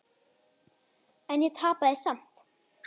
En ég tapaði samt.